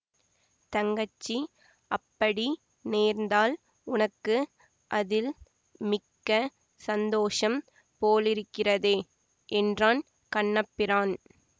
தங்கச்சி அப்படி நேர்ந்தால் உனக்கு அதில் மிக்க சந்தோஷம் போலிருக்கிறதே என்றான் கண்ணபிரான்